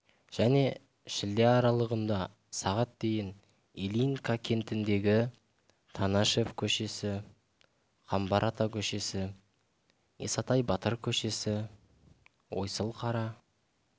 және шілде аралығында сағат дейін ильинка кентіндегі танашев көшесі қамбар ата көшесі исатай батыр көшесі ойсылкара